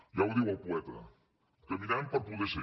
ja ho diu el poeta caminem per poder ser